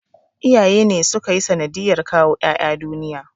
Iyaye ne suka yi sanadiyar kawo 'ƴa'ƴa duniya.